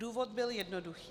Důvod byl jednoduchý.